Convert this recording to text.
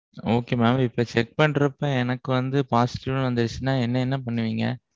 Okay mam. இப்போ check பண்றப்ப எனக்கு வந்து positive னு வந்திருச்சுனா என்னை என்ன பண்ணுவீங்க?